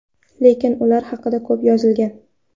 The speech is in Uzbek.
Lekin ular haqida ko‘p yozilgan.